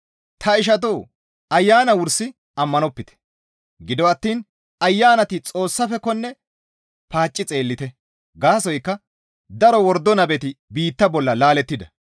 Ta ishatoo! Ayana wursi ammanopite; gido attiin ayanati Xoossafekkonne paacci xeellite; gaasoykka daro wordo nabeti biitta bolla laalettida.